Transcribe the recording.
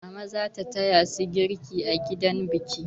Mama za ta taya su girki a gidan biki.